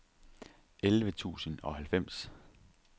elleve tusind og halvfems